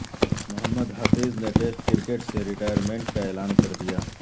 محمد حفیظ نے test cricket سے retirement کا اعلان کردیا